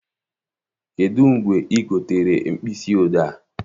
Kedụ mgbe ị gotere mkpịsị odee a?